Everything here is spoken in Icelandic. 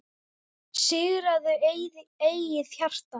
Sigraðu eigið hjarta,